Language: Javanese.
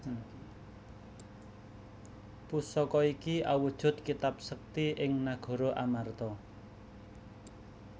Pusaka iki awujud kitab sekti ing nagara Amarta